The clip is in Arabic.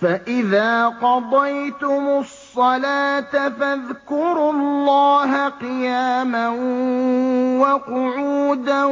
فَإِذَا قَضَيْتُمُ الصَّلَاةَ فَاذْكُرُوا اللَّهَ قِيَامًا وَقُعُودًا